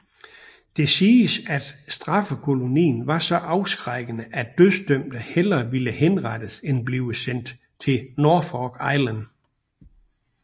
Det siges at straffekolonien var så afskrækkende at dødsdømte hellere ville henrettes end blive sendt til Norfolk Island